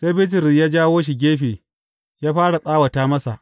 Sai Bitrus ya jawo shi gefe, ya fara tsawata masa.